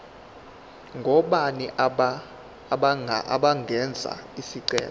ngobani abangenza isicelo